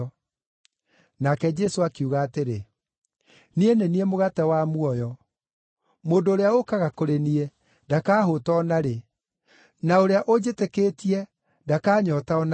Nake Jesũ akiuga atĩrĩ, “Niĩ nĩ niĩ mũgate wa muoyo. Mũndũ ũrĩa ũũkaga kũrĩ niĩ ndakahũũta o na rĩ, na ũrĩa ũnjĩtĩkĩtie ndakanyoota o na rĩ.